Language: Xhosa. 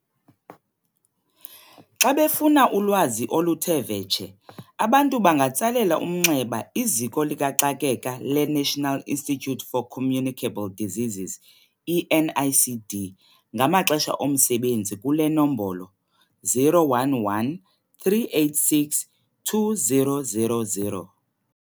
Xa befuna ulwazi oluthe vetshe, abantu bangatsalela umnxeba iZiko likaXakeka leNational Institute For Communicable Diseases, i-NICD, ngamaxesha omsebenzi kule nombolo- 011 386 2000.